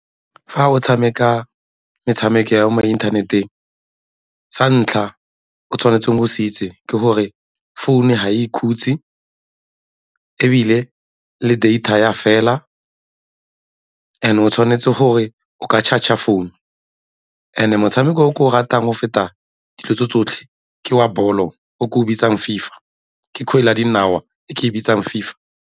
Fa o tshameka metshameko ya mo inthaneteng, sa ntlha o tshwanetseng go se itse ke gore founu ga e ikhutse ebile le data e a fela and-e o tshwanetse gore o ka charger founu and-e motshameko o ke o ratang go feta dilo tse tsotlhe ke wa bolo o ke o bitsang FIFA, ke kgwele ya dinao e ke e bitsang FIFA.